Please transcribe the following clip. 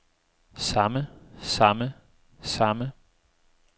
samme samme samme